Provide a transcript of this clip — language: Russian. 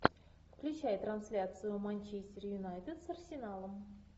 включай трансляцию манчестер юнайтед с арсеналом